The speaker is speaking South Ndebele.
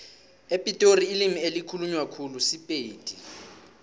epitori ilimi elikhulunywa khulu sipedi